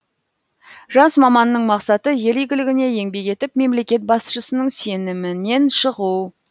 жас маманның мақсаты ел игілігіне еңбек етіп мемлекет басшысының сенімінен шығу